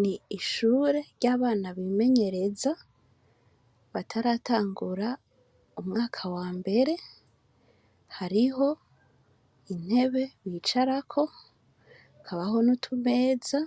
Ni ishure ryabana bimenyereza bataratangura umwaka wambere hariho intebe bicarako hakabaho nutumeza